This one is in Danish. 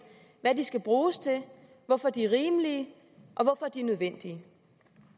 hvad de skal bruges til hvorfor de er rimelige og hvorfor de er nødvendige